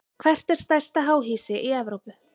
Hvert er stærsta háhýsi í Evrópu?